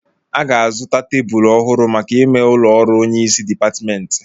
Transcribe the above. A ga-azụta tebụlu ọhụrụ maka ime ụlọ ọrụ onyeisi dịpatmentị